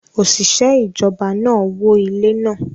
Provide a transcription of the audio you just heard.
Oṣiṣẹ ijọba naa wó ile naa